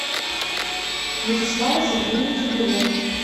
вячеслава сергеевича белова